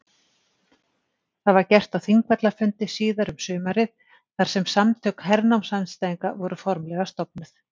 Það var gert á Þingvallafundi síðar um sumarið þar sem Samtök hernámsandstæðinga voru formlega stofnuð.